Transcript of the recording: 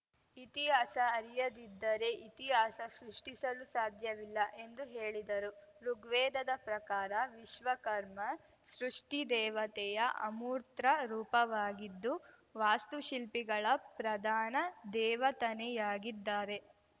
ಇತಿಹಾಸ ಅರಿಯದಿದ್ದರೆ ಇತಿಹಾಸ ಸೃಷ್ಟಿಸಲು ಸಾಧ್ಯವಿಲ್ಲ ಎಂದು ಹೇಳಿದರು ಋುಗ್ವೇದದ ಪ್ರಕಾರ ವಿಶ್ವಕರ್ಮ ಸೃಷ್ಟಿದೇವತೆಯ ಅಮೂರ್ತ ರೂಪವಾಗಿದ್ದು ವಾಸ್ತು ಶಿಲ್ಪಿಗಳ ಪ್ರಧಾನ ದೇವತನೆಯಾಗಿದ್ದಾರೆ